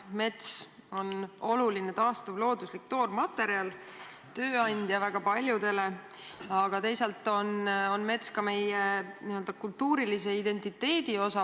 Mets on oluline taastuv looduslik toormaterjal ja tööandja väga paljudele, teisalt aga ka meie kultuurilise identiteedi osa.